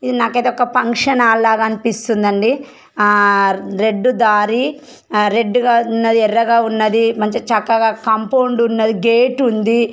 ఇది నాకైతే ఒక పంక్షన్ హాల్ లాగా అనిపిస్తుందండి ఆ రెడ్ దారి ఆ రెడ్ గా ఉన్నది ఎర్రగా ఉన్నది మంచి చక్కగా కాంపౌండ్ ఉన్నది గేట్ ఉంది.